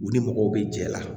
U ni mɔgɔw bɛ jɛla